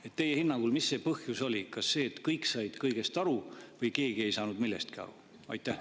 Mis teie hinnangul see põhjus oli: kas see, et kõik said kõigest aru või keegi ei saanud millestki aru?